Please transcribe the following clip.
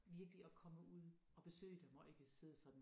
Virkelig at komme ud og besøge dem og ikke sidde sådan